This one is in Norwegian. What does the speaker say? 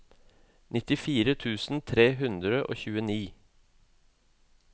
nittifire tusen tre hundre og tjueni